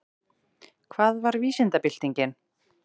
Hvað var vísindabyltingin?